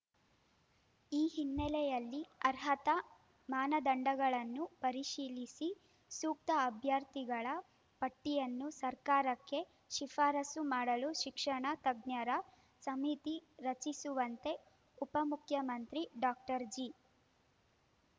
ಈ ಹಿನ್ನೆಲೆಯಲ್ಲಿ ಅರ್ಹತಾ ಮಾನದಂಡಗಳನ್ನು ಪರಿಶೀಲಿಸಿ ಸೂಕ್ತ ಅಭ್ಯರ್ಥಿಗಳ ಪಟ್ಟಿಯನ್ನು ಸರ್ಕಾರಕ್ಕೆ ಶಿಫಾರಸು ಮಾಡಲು ಶಿಕ್ಷಣ ತಜ್ಞರ ಸಮಿತಿ ರಚಿಸುವಂತೆ ಉಪಮುಖ್ಯಮಂತ್ರಿ ಡಾಕ್ಟರ್ ಜಿ